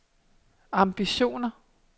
ambitioner